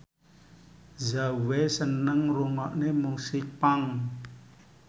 Zhao Wei seneng ngrungokne musik punk